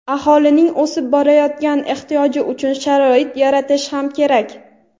aholining o‘sib borayotgan ehtiyoji uchun sharoit yaratish ham kerak.